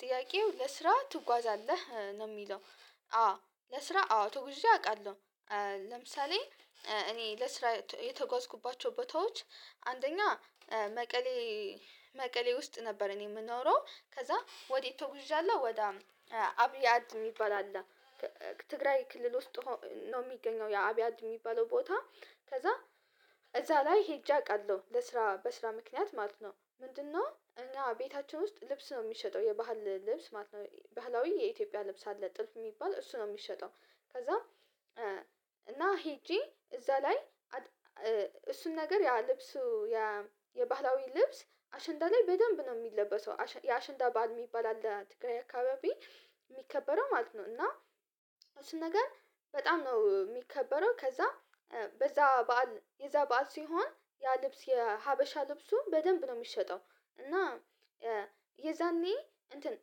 ጥያቄው ለስራ ትጓዛለህ ነው የሚለው? አዎ ለስራ አዎ ተጉዤ አውቃለሁ። ለምሳሌ። እኔ ለስራ የተጓዝኩባቸው ቦታዎች አንደኛ መቀሌ መቀሌ ውስጥ ነበር። እኔ የምኖረው ከዛ ወዴት ተውዣለሁ። ወደ አብያድ የሚባል አለ። ትግራይ ክልል ውስጥ ነው የሚገኘው የአብያድ የሚባለው ቦታ። ከዛ እዛ ላይ ሄጄ አውቃለሁ። ለስራ በስራ ምክንያት ማለት ነው። ምንድነው? እና ቤታችን ውስጥ ልብስ ነው የሚሸጠው የባህል ልብስ ማለት ነው። ባህላዊ የኢትዮጵያ ልብስ አለ ጥልፍ የሚባል እሱ ነው የሚሸጠው። ከዛ እና ሄጄ እዛ ላይ እሱን ነገር ያ ልብሱ የባህላዊ ልብስ አሸንዳ ላይ በደንብ ነው የሚለበሰው። የአሸንዳ ባል የሚባል አለ ትግራይ አካባቢ የሚከበረው ማለት ነው። እና እሱን ነገር በጣም ነው የሚከበረው። ከዛ በዛ በዓል የዛ በዓል ሲሆን ያ ልብስ የሀበሻ ልብሱን በደንብ ነው የሚሸጠው። እና የዛኔ እንትን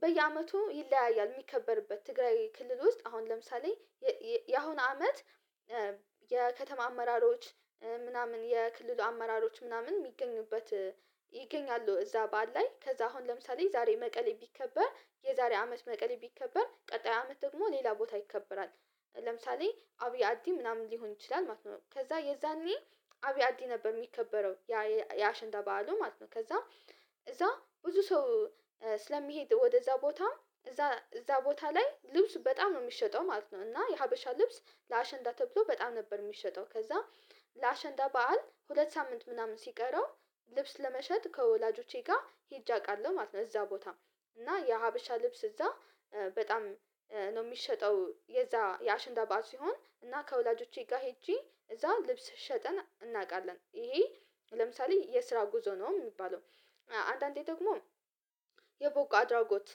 በየአመቱ ይለያያል። የሚከበርበት ትግራይ ክልል ውስጥ አሁን ለምሳሌ የአሁን አመት የከተማ አመራሮች ምናምን የክልሉ አመራሮች ምናምን የሚገኙበት ይገኛሉ። እዛ በዓል ላይ ከዛ አሁን ለምሳሌ ዛሬ መቀሌ ቢከበር የዛሬ አመት መቀሌ ቢከበር ቀጣይ አመት ደግሞ ሌላ ቦታ ይከበራል። ለምሳሌ አብይ አዲ ምናምን ሊሆን ይችላል ማለት ነው። ከዛ የዛኔ አብያዲ ነበር የሚከበረው። የአሸንዳ በዓሉ ማለት ነው። ከዛም እዛ ብዙ ሰው ስለሚሄድ ወደዛ ቦታ እዛ እዛ ቦታ ላይ ልብስ በጣም ነው የሚሸጠው ማለት ነው። እና የሀበሻ ልብስ ለአሸንዳ ተብሎ በጣም ነበር የሚሸጠው። ከዛ ለአሸንዳ በዓል ሁለት ሳምንት ምናምን ሲቀረው ልብስ ለመሸጥ ከወላጆቼ ጋር ሄጄ አውቃለሁ ማለት ነው። እዛ ቦታ እና የሀበሻ ልብስ እዛ በጣም ነው የሚሸጠው። የዛ የአሽንዳ ባህር ሲሆን እና ከወላጆቼ ጋር ሄጄ እዛ ልብስ ሸጠን እናውቃለን። ይሄ ለምሳሌ የስራ ጉዞ ነው የሚባለው። አንዳንዴ ደግሞ የበጎ አድራጎት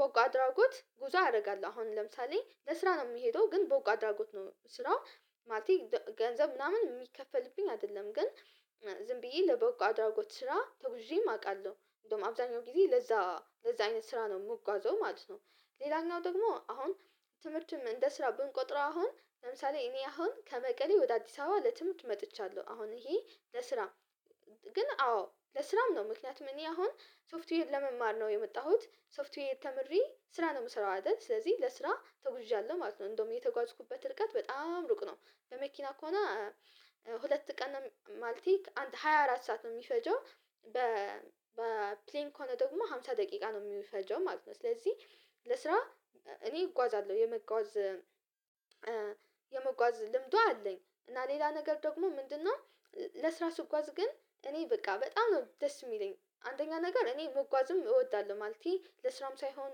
በጎ አድራጎት ጉዞ አደርጋለሁ። አሁን ለምሳሌ ለስራ ነው የምሄደው ግን በጎ አድራጎት ነው ስራው ማለቴ ገንዘብ ምናምን የሚከፈልብኝ አይደለም። ግን ዝም ብዬ ለበጎ አድራጎት ስራ ተጉዤም አውቃለሁ። እንደውም አብዛኛው ጊዜ ለዛ ለዛ አይነት ስራ ነው የምጓዘው ማለት ነው። ሌላኛው ደግሞ አሁን ትምህርትም እንደ ስራ ብንቆጥረው አሁን ለምሳሌ እኔ አሁን ከመቀሌ ወደ አዲስ አበባ ለትምህርት መጥቻለሁ። አሁን ይሄ ለስራም ግን አዎ ለስራም ነው። ምክንያቱም እኔ አሁን ሶፍትዌር ለመማር ነው የመጣሁት ሶፍትዌይ ተምሬ ስራ ነው የምሰራው አይደል ስለዚህ ለስራ ተጉዥዣለሁ ማለት ነው። እንደውም የተጓዝኩበት እርጋት በጣም ሩቅ ነው። በመኪና ከሆነ ሁለት ቀን ማለቴ ሃያ አራት ሰዓት ነው የሚፈጀው። በ በፕሌን ከሆነ ደግሞ አምሳ ደቂቃ ነው የሚፈጀው ማለት ነው። ስለዚህ ለስራ እኔ እጓዛለሁ። የመጓዝ የመጓዝ ልምዱ አለኝ እና ሌላ ነገር ደግሞ ምንድነው? ለስራ ስጓዝ ግን እኔ በቃ በጣም ነው ደስ የሚለኝ አንደኛ ነገር እኔ መጓዝም እወዳለሁ ማለቴ ለስራም ሳይሆን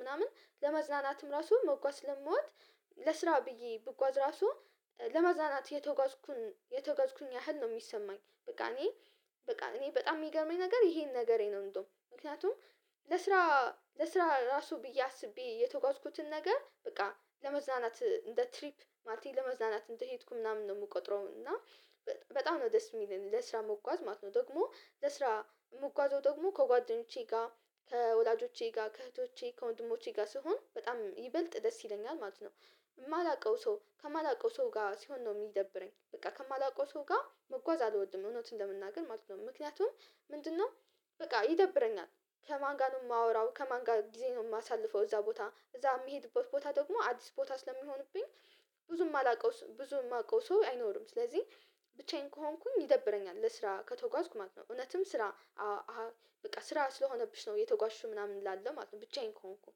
ምናምን ለመዝናናትም ራሱ መጓዝ ለሞት ለስራ ብዬ ብጓዝ ራሱ ለመዝናናት የተጓዝኩኝ ያህል ነው የሚሰማኝ። በቃ እኔ በቃ እኔ በጣም የሚገርመኝ ነገር ይሄን ነገሬ ነው። እንደውም ምክንያቱም። ለስራ ለስራ ራሱ ብዬ አስቤ የተጓዝኩትን ነገር በቃ ለመዝናናት እንደ ትሪፕ ማለት ለመዝናናት እንደሄድኩ ምናምን ነው የምቆጥረው። እና በጣም ነው ደስ የሚለው ለስራ መጓዝ ማለት ነው። ደግሞ ለስራ ምጓዘው ደግሞ ከጓደኞቼ ጋር ከወላጆቼ ጋር ከእህቶቼ ከወንድሞቼ ጋር ስሆን በጣም ይበልጥ ደስ ይለኛል ማለት ነው። የማላውቀው ሰው ከማላውቀው ሰው ጋር ሲሆን ነው የሚደብረኝ። በቃ ከማላውቀው ሰው ጋር መጓዝ አልወድም እውነትን ለመናገር ማለት ነው። ምክንያቱም ምንድነው? በቃ ይደብረኛል። ከማን ጋር ነው የማወራው ከማን ጋር ጊዜ ነው የማሳልፈው እዛ ቦታ እዛ የምሄድበት ቦታ ደግሞ አዲስ ቦታ ስለሚሆንብኝ። ብዙም አላውቀውም ብዙም የማውቀው ሰው አይኖርም። ስለዚህ ብቻዬን ከሆንኩኝ ይደብረኛል። ስራ ከተጓዝኩ ማለት ነው። እውነትም ስራ በቃ ስራ ስለሆነብሽ ነው የተጓዥሽው ምናምን እላለሁ ማለት ነው። ብቻዬን ከሆንኩኝ።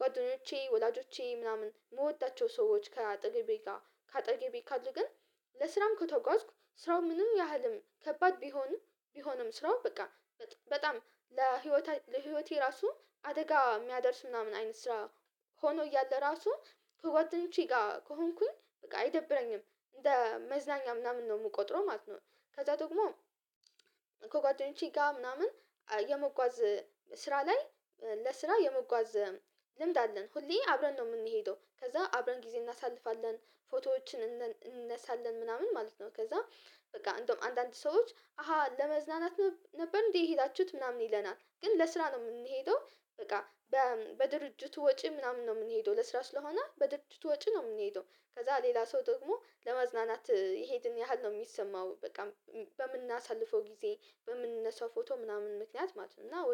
ጓደኞቼ ወላጆቼ ምናምን የምወዳቸው ሰዎች ከአጠገቤ ጋር ከአጠገቤ ካሉ ግን ለስራም ከተጓዝኩ ስራው ምንም ያህልም ከባድ ቢሆንም። ቢሆንም ስራው በቃ በጣም ለህይወቴ ለህይወቴ ራሱ አደጋ የሚያደርስ ምናምን አይነት ስራ። ሆኖ እያለ ራሱ ከጓደኞቼ ጋር ከሆንኩኝ በቃ አይደብረኝም። እንደ መዝናኛ ምናምን ነው የምቆጥረው ማለት ነው። ከዛ ደግሞ ከጓደኞች ጋር ምናምን የመጓዝ ስራ ላይ ለስራ የመጓዝ ልምድ አለን። ሁሌ አብረን ነው የምንሄደው ከዛ አብረን ጊዜ እናሳልፋለን። ፎቶዎችን እንነሳለን ምናምን ማለት ነው። ከዛ በቃ እንደውም አንዳንድ ሰዎች አሃ ለመዝናናት ነበር እንዴ የሄዳችሁት ምናምን ይለናል። ግን ለስራ ነው የምንሄደው። በቃ በድርጅቱ ወጪ ምናምን ነው የምንሄደው ለስራ ስለሆነ በድርጅቱ ወጪ ነው የምንሄደው። ከዛ ሌላ ሰው ደግሞ ለመዝናናት ይሄድን ያህል ነው የሚሰማው። በቃ በምናሳልፈው ጊዜ በምንነሳው ፎቶ ምናምን ምክንያት ማለት ነው። እና